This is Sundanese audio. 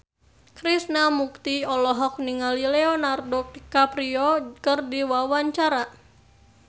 Krishna Mukti olohok ningali Leonardo DiCaprio keur diwawancara